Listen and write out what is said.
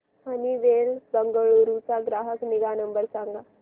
Honeywell Bengaluru चा ग्राहक निगा नंबर सांगा